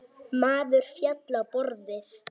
Maður féll á borðið.